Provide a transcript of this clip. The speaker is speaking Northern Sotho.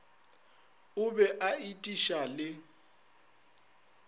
o be a etiša le